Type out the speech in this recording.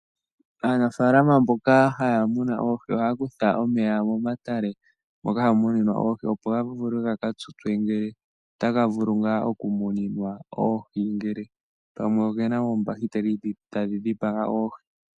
Aanafalama mboka haya muna oohi ohaya kutha omeya momatale, moka hamu muninwa oohi opo ya vule ga ka tutswe ngele otaga vulu nga okumuninwa oohi ngele pamwe ogena oombahiteli dhi tadhi dhipaga oohi.